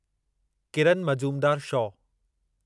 Kiran Mazumdar show